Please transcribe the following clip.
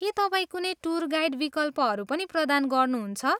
के तपाईँ कुनै टुर गाइड विकल्पहरू पनि प्रदान गर्नुहुन्छ?